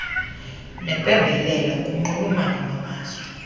neempembelelo kunxulumano lwamazwe